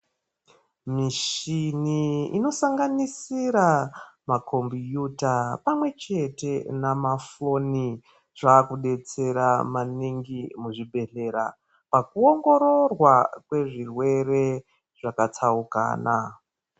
Mishini inosanganisira makhombiyuta pamwechete namafoni zvakudetsera maningi muzvibhedhlera pakuongororwa kwezvirwere zvakatsaukana.